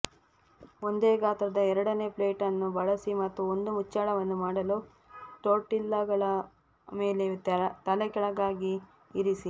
ಒಂದೇ ಗಾತ್ರದ ಎರಡನೇ ಪ್ಲೇಟ್ ಅನ್ನು ಬಳಸಿ ಮತ್ತು ಒಂದು ಮುಚ್ಚಳವನ್ನು ಮಾಡಲು ಟೋರ್ಟಿಲ್ಲಾಗಳ ಮೇಲೆ ತಲೆಕೆಳಗಾಗಿ ಇರಿಸಿ